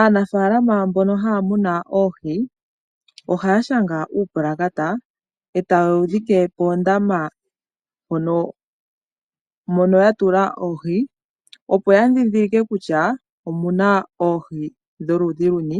Aanafalama mboka haya munu oohi, ohaya shanga uupalakata, eta yewu dhikile poondama mono ya tula oohi, opo ya dhidhilike kutya omuna oohi dholudhi luni